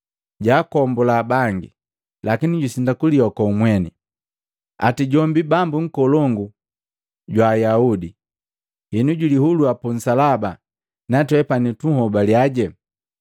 “Jwaakombula bangi, lakini jusindwa kulioko mweni! Ati jombi Bambu nkolongu jwa Ayahude! Henu julihulua pu nsalaba natwepani tunhobaliaje.